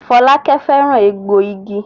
Folake féràn egboigi.